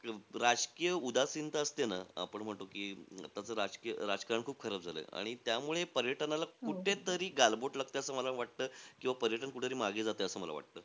राजकीय उदासीनता असते ना, आपण म्हणतो की असं राज राजकारण खूप खराब झालयं. आणि त्यामुळे पर्यटनाला कुठेतरी गालबोट लागतंय, असं मला वाटतंय. किंवा पर्यटन कुठेतरी मागे जातंय, असं मला वाटतं.